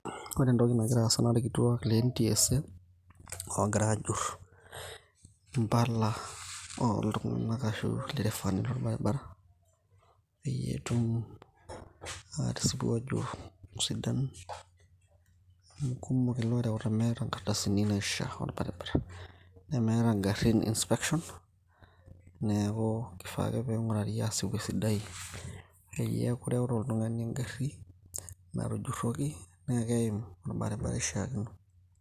ore entoki nagira aasa naa irkituak le NTSA oogira ajur mpala ooldere fani ashu loo iltung'anak lo baribara , peyie etum atisipu ajo sidan ,amu kumok ilorewuta nemeeta inkardasini ne meeta igarin inspection, neeku kifaa ake pee ing'urari asioki esidai, peyie eku ireuta oltung'ani egari natujuroki naakeim orbaribara ishaakino.